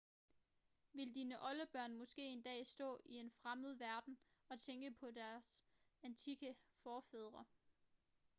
vil dine oldebørn måske en dag stå i en fremmed verden og tænke på deres antikke forfædre